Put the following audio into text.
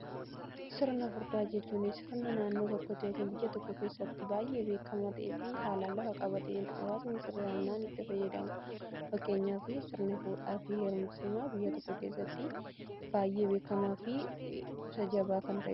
sirna fudhaa jechuun sirna naannoo tokkotti yookin biyya tokko keessatti baay'ee beekama ta'ee fi haalaan lafa qabateen hawaasni sirrinaan itti fayyadamudha. fakkeenyaa fi sirna fuudhaa fi herumsaa biyya tokko keessatti baay'ee beekamaa fi jabaa kan ta'edha.